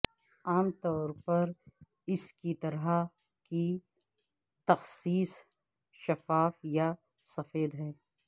عام طور پر اس طرح کی تخصیص شفاف یا سفید ہے